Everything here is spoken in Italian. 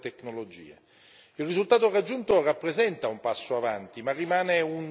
Il risultato raggiunto rappresenta un passo avanti ma rimane un solo inizio.